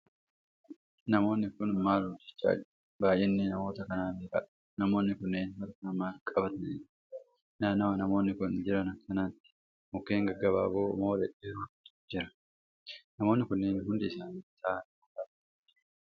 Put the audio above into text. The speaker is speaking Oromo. Namoonni Kuni maal hojjachaa jiru?. baay'inni namoota kanaa meeqadha?.namoonni kunniin harkaan maal qabatanii jiru?. naannawa namoonni Kuni Jiran kanatti mukkeen gaggabaaboo moo dhedheerootu Jira?.namoonni kunniin hundi isaanii taa'anii moo dhaabatanii jiru?.